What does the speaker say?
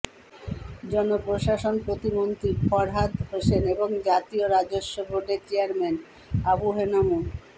জনপ্রশাসন প্রতিমন্ত্রী ফরহাদ হোসেন এবং জাতীয় রাজস্ব বোর্ডের চেয়ারম্যান আবু হেনা মো